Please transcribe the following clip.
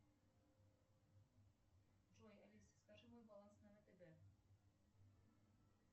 джой алиса скажи мой баланс на втб